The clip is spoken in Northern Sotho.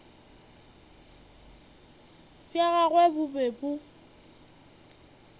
bja gagwe bo be bo